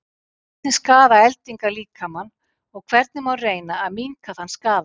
Hvernig skaða eldingar líkamann og hvernig má reyna að minnka þann skaða?